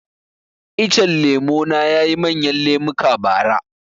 Icen lemo na yayi manyan lemuka bara